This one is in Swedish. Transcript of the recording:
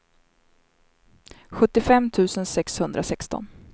sjuttiofem tusen sexhundrasexton